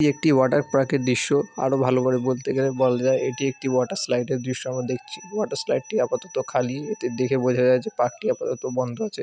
এটি একটি water park -এর দৃশ্য আরো ভালো করে বলতে গেলে বলা যায় এটি একটি ওয়াটার স্লাইড -এর দৃশ্য আমরা দেখছি | ওয়াটার স্লাইড টি আপাতত খালি এটি দেখে বোঝা যাই যে পার্ক টি আপাতত বন্ধ আছে |